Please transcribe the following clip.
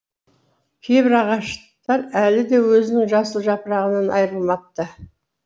кейбір ағаштар әлі де өзінің жасыл жапырағынан айрылмапты